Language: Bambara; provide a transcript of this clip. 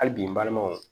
Hali bi n balimanw